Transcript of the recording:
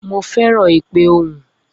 Mo feran ipe ohun.